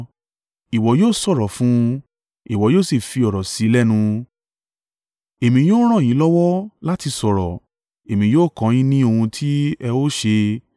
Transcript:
Ìwọ yóò sọ̀rọ̀ fún un, ìwọ yóò sì fi ọ̀rọ̀ sí i lẹ́nu, èmi yóò ràn yín lọ́wọ́ láti sọ̀rọ̀. Èmi yóò kọ́ ọ yín ni ohun ti ẹ ó ṣe.